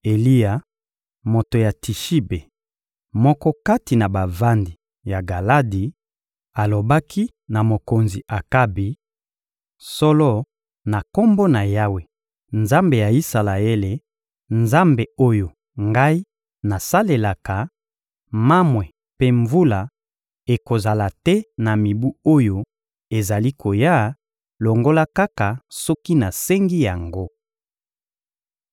Eliya, moto ya Tishibe, moko kati na bavandi ya Galadi, alobaki na mokonzi Akabi: — Solo, na Kombo na Yawe, Nzambe ya Isalaele, Nzambe oyo ngai nasalelaka, mamwe mpe mvula ekozala te na mibu oyo ezali koya, longola kaka soki nasengi yango.